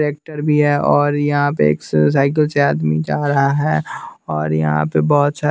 tractor भी है और यहाँ पे एक स साइकिल से आदमी जा रहा है और यहाँ पे बहुत सारे --